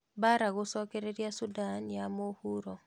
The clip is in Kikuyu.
Mbara gũcokereria Sudan ya mũhuro.